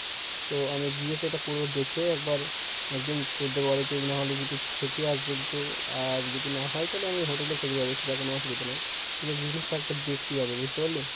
তো আমি গিয়ে সেটা পুরো দেখে একবার একদিন তোদের বাড়িতে না হলে যদি থেকে আসব যেহেতু আর যদি না হয় তাহলে আমি hotel এ থেকে যাবো সেটা কোনো অসুবিধা নয়, কিন্তু business টা একবার দেখতে যাব । বুঝতে পারলি?